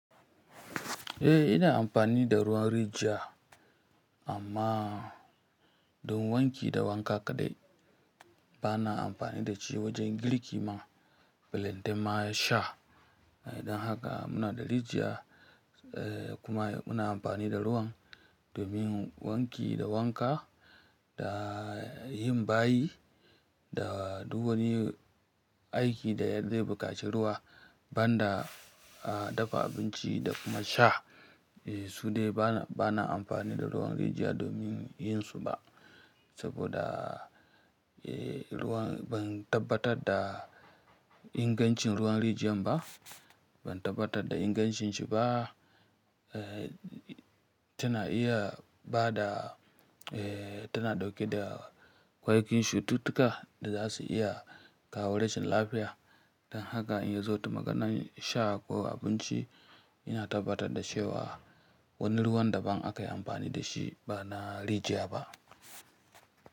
Eh ina amfani da ruwan rijiya amma don wanki da wanka kaɗai. Bana amfani da shi wajen girki ma, belenta ma sha. Idan haka muna da rijiya eh kuma muna amfani da ruwan domin wanki da wanka da yin bayi, da duk wani aiki da ya za ɓukaci ruwa, ban da dafa abinci da kuma sha. Su dai bana amfani da ruwan rijiya domin yin su ba saboda eh ruwan ban tabbatar da ingancin ruwan rijiyan ba. Ban tabbatar da ingancin shi ba. Tana iya bada eh tana ɗauke da ƙwayoyin cututtuka da za su iya kawo rashin lafiya. Don haka in zo ta maganan sha ko abinci, ina tabbatar da cewa wannan ruwan daban aka yi amfani da shi ba na rijiya ba.